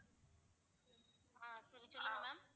அஹ் சொல்லுங்க ma'am